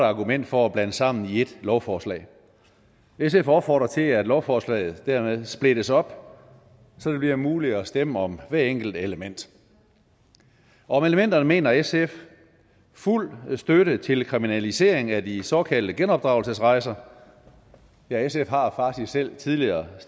argument for at blande sammen i ét lovforslag sf opfordrer til at lovforslaget dermed splittes op så det bliver muligt at stemme om hvert enkelt element om elementerne mener sf fuld støtte til kriminalisering af de såkaldte genopdragelsesrejser ja sf har faktisk selv tidligere